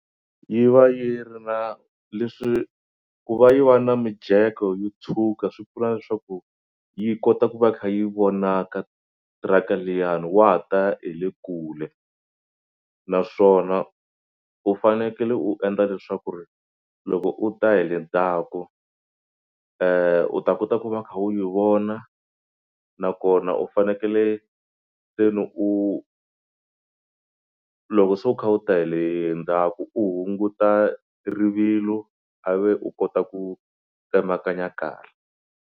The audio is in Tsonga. Yi va yi ri na leswi ku va yi va na mijeko yo tshuka swi pfuna leswaku yi kota ku va kha yi vonaka tiraka liyani wa ta hi le kule naswona u fanekele u endla leswaku ri loko u ta hi le ndzhaku u ta kota ku va u kha u yi vona nakona u fanekele se ni u loko se u kha u ta hi le ndzhaku u hunguta rivilo a ve u kota ku tsemakanya kahle.